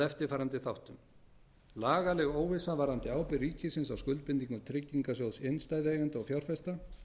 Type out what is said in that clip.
eftirfarandi þáttum lagaleg óvissa varðandi ábyrgð ríkisins á skuldbindingum tryggingarsjóðs innstæðueigenda og fjárfesta